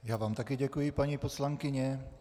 Já vám také děkuji, paní poslankyně.